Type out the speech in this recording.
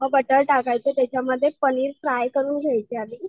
मग बटर टाकायचं त्याच्यामध्ये पनीर फ्राय करून घ्यायचे आधी.